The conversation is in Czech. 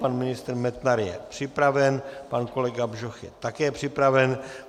Pan ministr Metnar je připraven, pan kolega Bžoch je také připraven.